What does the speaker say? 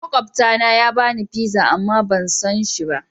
Makwabta na ya bani pizza amma ban son shi.